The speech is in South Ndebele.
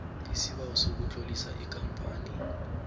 isibawo sokutlolisa ikampani